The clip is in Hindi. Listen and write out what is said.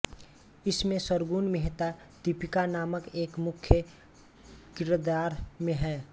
इसमें सरगुण मेहता दीपिका नामक एक मुख्य किरदार में हैं